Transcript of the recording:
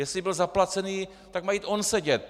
Jestli byl zaplacen, tak má jít on sedět.